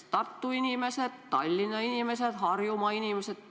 Piirid on kinni sellepärast, et lihtsalt soovitakse viirust tõkestada.